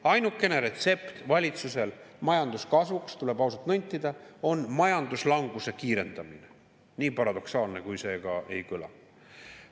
Ainukene retsept valitsusel majanduskasvuks, tuleb ausalt nentida, on majanduslanguse kiirendamine, nii paradoksaalselt kui see ka ei kõla.